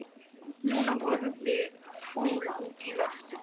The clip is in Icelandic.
Nína horfði fúl út í loftið.